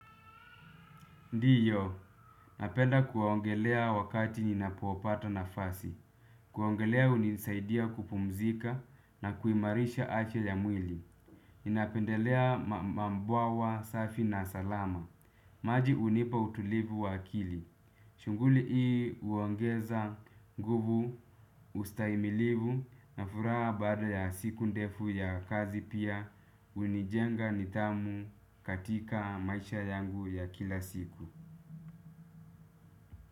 Ndiyo, napenda kuongelea wakati ninapopata nafasi. Kuogelea hunisaidia kupumzika na kuimarisha afya ya mwili. Ninapendelea mabwawa safi na salama. Maji hunipa utulivu wa akili. Shughuli hii huongeza nguvu, ustahimilivu, na furaha baada ya siku ndefu ya kazi pia hunijenga nithamu katika maisha yangu ya kila siku.